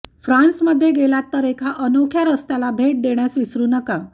फ्रान्समध्ये गेलात तर एका अनोख्या रस्त्याला भेट देण्यास विसरू नका